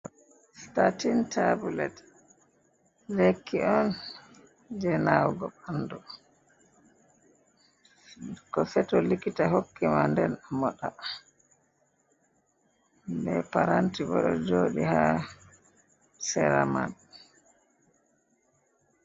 Statin tabulet lekki on je nawugo ɓanɗu, ko seto likita hokki ma den a moɗa, be paranti bo ɗo joɗi ha sera man.